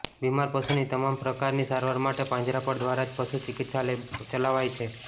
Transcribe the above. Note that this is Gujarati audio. બિમાર પશુની તમામ પ્રકારની સારવાર માટે પાંજરાપોળ દ્વારા જ પશુ ચિકિત્સાલય ચલાવાય છે